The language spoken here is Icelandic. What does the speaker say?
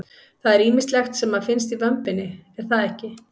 Það er ýmislegt sem að finnst í vömbinni er það ekki?